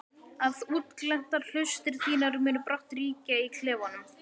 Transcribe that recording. Að útglenntar hlustir þínar munu brátt ríkja í klefanum.